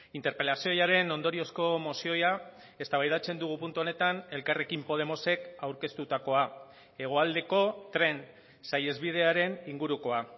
interpelazioaren ondoriozko mozioa eztabaidatzen dugu puntu honetan elkarrekin podemosek aurkeztutakoa hegoaldeko tren saihesbidearen ingurukoa